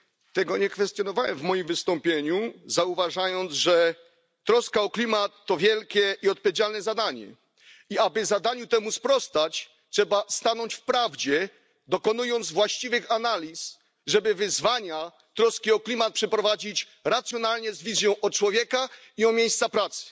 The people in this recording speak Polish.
Tego nie kwestionowałem w moim wystąpieniu, zauważając, że troska o klimat to wielkie i odpowiedzialne zadanie. Aby zadaniu temu sprostać, trzeba stanąć w prawdzie, dokonując właściwych analiz, żeby na wyzwania i troskę o klimat odpowiedzieć racjonalnie, pamiętając o ludziach i miejscach pracy.